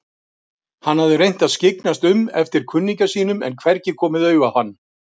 Hann hafði reynt að skyggnast um eftir kunningja sínum en hvergi komið auga á hann.